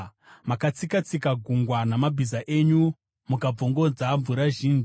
Makatsika-tsika gungwa namabhiza enyu, mukabvongodza mvura zhinji.